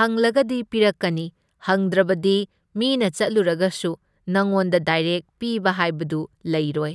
ꯍꯪꯂꯒꯗꯤ ꯄꯤꯔꯛꯀꯅꯤ ꯍꯪꯗ꯭ꯔꯕꯗꯤ ꯃꯤꯅ ꯆꯠꯂꯨꯔꯒꯁꯨ ꯅꯪꯉꯣꯟꯗ ꯗꯥꯏꯔꯦꯛ ꯄꯤꯕ ꯍꯥꯏꯕꯗꯨ ꯂꯩꯔꯣꯏ꯫